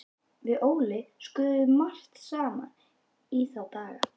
Við Óli skröfluðum margt saman í þá daga.